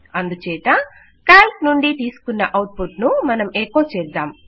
అందుచేత కాల్క్ నుండి తీసుకున్న అవుట్ పుట్ ను మనం ఎకో చేద్దాం